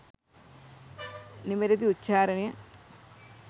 නිවැරැදි උච්චාරණය